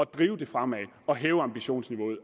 drive det fremad og hæve ambitionsniveauet